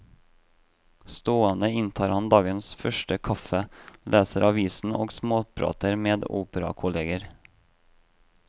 Stående inntar han dagens første kaffe, leser aviser og småprater med operakolleger.